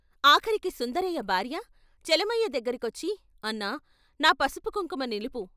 ఆఖరికి సుందరయ్య భార్య చలమయ్య దగ్గరకొచ్చి ' అన్నా ' నా పసుపుకుంకుమ నిలుపు.